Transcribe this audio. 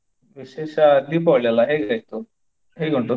ವಿಶೇಷ Deepavali ಅಲ್ಲ ಹೇಗಾಯ್ತು, ಹೇಗುಂಟು?